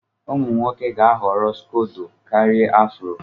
Ụmụ nwoke ga-ahọrọ scodo karia afro.